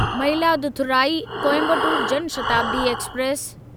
Mayiladuthurai Coimbatore Jan Shatabdi express